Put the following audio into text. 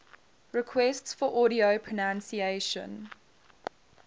requests for audio pronunciation